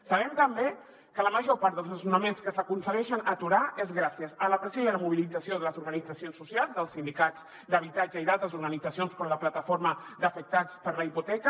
sabem també que la major part dels desnonaments que s’aconsegueixen aturar és gràcies a la pressió i a la mobilització de les organitzacions socials dels sindicats d’habitatge i d’altres organitzacions com la plataforma d’afectats per la hipoteca